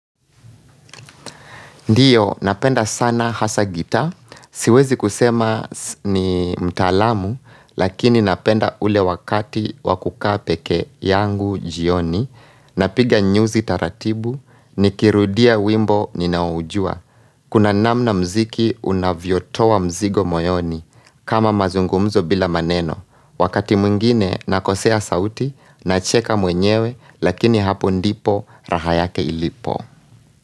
Ndiyo, napenda sana hasa gitaa, siwezi kusema ni mtaalamu, lakini napenda ule wakati wakukaapeke yangu jioni, napiga nyuzi taratibu, nikirudia wimbo ninaoujua. Kuna namna mziki unavyotoa mzigo moyoni, kama mazungumzo bila maneno. Wakati mwingine, nakosea sauti, nacheka mwenyewe, lakini hapo ndipo, raha yake ilipo.